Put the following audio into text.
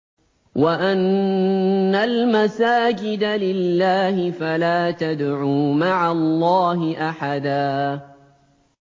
وَأَنَّ الْمَسَاجِدَ لِلَّهِ فَلَا تَدْعُوا مَعَ اللَّهِ أَحَدًا